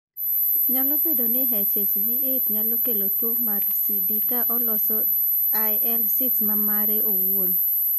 Nyalo bedo ni HHV 8 nyalo kelo tuo mar CD ka oloso IL 6 ma mare owuon.